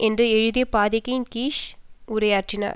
என்று எழுதிய பதாகையின்கீழ் நின்று உரையாற்றினர்